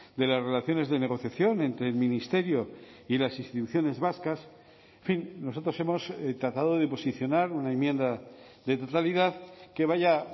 de las relaciones de negociación entre el ministerio y las instituciones vascas en fin nosotros hemos tratado de posicionar una enmienda de totalidad que vaya